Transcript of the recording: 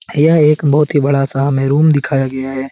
यह एक बहोत ही बड़ा सा हमें रूम दिखाया गया है।